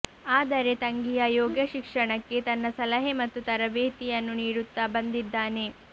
ಆದರೆ ತಂಗಿಯ ಯೋಗಶಿಕ್ಷಣಕ್ಕೆ ತನ್ನ ಸಲಹೆ ಮತ್ತು ತರಬೇತಿಯನ್ನು ನೀಡುತ್ತಾ ಬಂದಿದ್ದಾನೆ